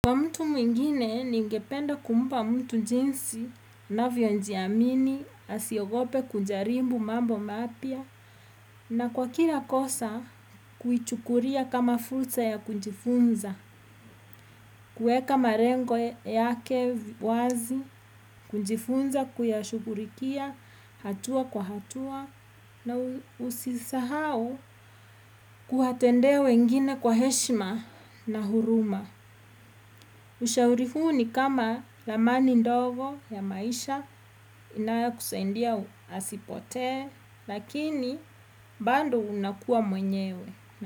Kwa mtu mwingine, ningependa kumpa mtu njinsi, navyonjiamini, asiogope kujarimbu mambo mapya, na kwa kila kosa, kuichukuria kama fursa ya kunjifunza, kueka marengo yake wazi, kunjifunza kuyashugurikia, hatua kwa hatua, na usisahau kuwatendea wengine kwa heshima na huruma. Ushauri huu ni kama ramani ndogo ya maisha inayokusaidia asipotee, lakini bado unakua mwenyewe.